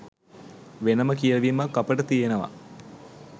වෙනම කියවීමක් අපට තියෙනව.